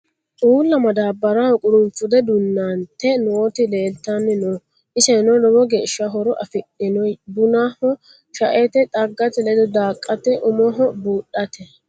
Uulla madabaraho qurunfude duunante nootti leelittanni noo. isenno lowo geeshsha horo afidhiinno bunnaho , shaette, xaggate ledo daaqatte, umoho buudhatte.